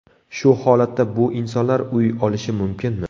Shu holatda bu insonlar uy olishi mumkinmi.